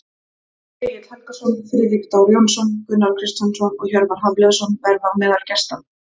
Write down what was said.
Egill Helgason, Friðrik Dór Jónsson, Gunnar Kristjánsson og Hjörvar Hafliðason verða á meðal gesta.